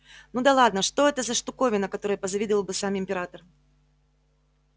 ну да ладно что это за штуковина которой позавидовал бы сам император